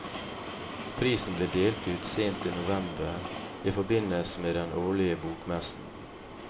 Prisen ble delt ut sent i november i forbindelse med den årlige bokmessen.